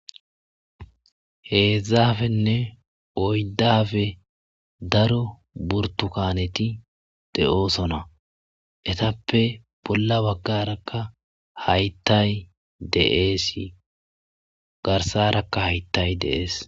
Heedzaafenne oydafe daro burtu kaneti de,osona etappe bolla baggarakka hayttay deeesi garsarakka haytay deees.